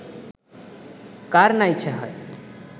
কার না ইচ্ছা হয়